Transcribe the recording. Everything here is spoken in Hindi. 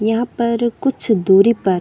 यहाँ पर कुछ दूरी पर--